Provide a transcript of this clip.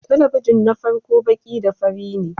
Talabijin na farko baki da fari ne